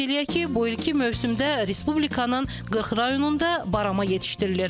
Qeyd eləyək ki, bu ilki mövsümdə Respublikanın 40 rayonunda barama yetişdirilir.